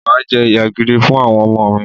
Mà á jẹ́ ìyá gidi fún àwọn ọmọ mi